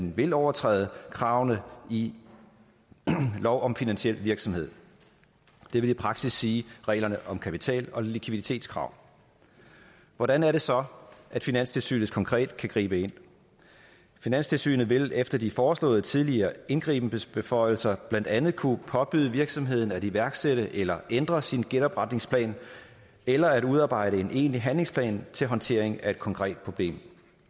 vil overtræde kravene i lov om finansiel virksomhed det vil i praksis sige reglerne om kapital og likviditetskrav hvordan er det så finanstilsynet konkret kan gribe ind finanstilsynet vil efter de foreslåede tidligere indgribensbeføjelser blandt andet kunne påbyde virksomheden at iværksætte eller ændre sin genopretningsplan eller at udarbejde en egentlig handlingsplan til håndtering af et konkret problem